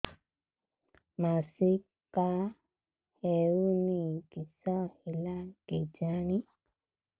ମାସିକା ହଉନି କିଶ ହେଲା କେଜାଣି